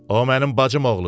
O mənim bacım oğludur.